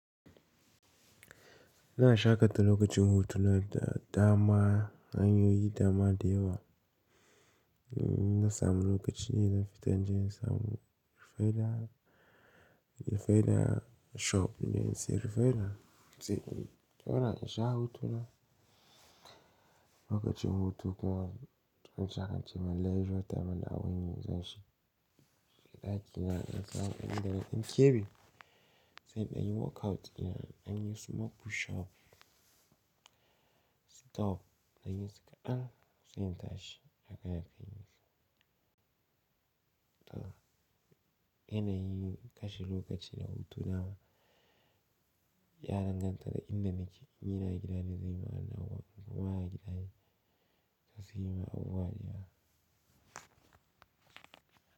Ina sha ka ta lokacin hutu na dama, an yo yi dama dayewa. Na samu lokacin da fita, jin samu refila, refila shop ne, si refila. Sai in zauna in sha hutu na lokacin hutu ka in sha kance Malaysia dama na wani zashi. Dakina in sha, in da kebi sai in yi workout in, dan yi suma pushup. Sit up in yi sakadan, sai in tashi in tashi haka in yi. To yanayin kashi lokacin hutu na ya danganta da inda nake, in ina gidane da ni zanyi wadannan, na wa yake da ni za su yi ma abu wari a.